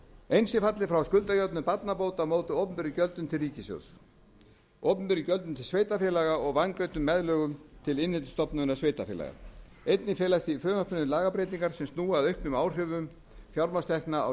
eins er fallið frá skuldajöfnun barnabóta á móti opinberum gjöldum til ríkissjóðs opinberum gjöldum til sveitarfélaga og vangreiddum meðlögum til innheimtustofnunar sveitarfélaganna einnig felast í frumvarpinu lagabreytingar sem snúa að auknum áhrifum fjármagnstekna á